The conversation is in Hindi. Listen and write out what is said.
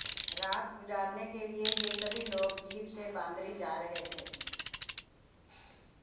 रात गुजारने के लिए यह सभी लोग जीप से बांदरी जा रहे थे